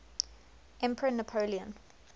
emperor napoleon